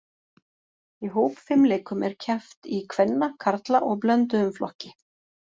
Í hópfimleikum er keppt í kvenna, karla og blönduðum flokki.